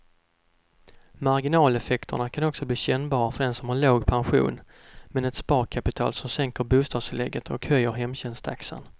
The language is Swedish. Marginaleffekterna kan också bli kännbara för den som har låg pension, men ett sparkapital som sänker bostadstillägget och höjer hemtjänsttaxan.